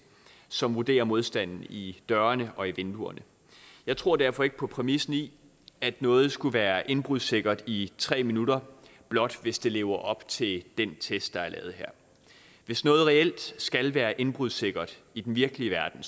som vurderer modstanden i dørene og i vinduerne jeg tror derfor ikke på præmissen i at noget skulle været indbrudssikkert i tre minutter blot hvis det lever op til den test der er lavet her hvis noget reelt skal være indbrudssikkert i den virkelige verden